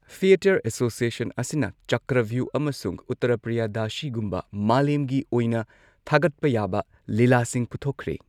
Theatre association ꯑꯁꯤꯅ ꯆꯀ꯭ꯔꯚ꯭ꯌꯨꯍ ꯑꯃꯁꯨꯡ ꯎꯠꯇꯔꯄ꯭ꯔꯤꯌꯗꯁꯤꯒꯨꯝꯕ ꯃꯥꯂꯦꯝꯒꯤ ꯑꯣꯏꯅ ꯊꯥꯒꯠꯄ ꯌꯥꯕ ꯂꯤꯂꯥꯁꯤꯡ ꯄꯨꯊꯣꯛꯈ꯭ꯔꯦ꯫